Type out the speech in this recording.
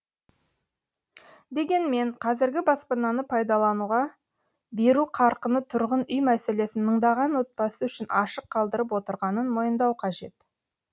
дегенмен қазіргі баспананы пайдалануға беру қарқыны тұрғын үй мәселесін мыңдаған отбасы үшін ашық қалдырып отырғанын мойындау қажет